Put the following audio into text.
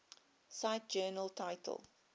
cite journal title